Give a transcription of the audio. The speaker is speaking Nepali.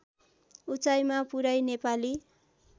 उचाइमा पुर्‍याई नेपाली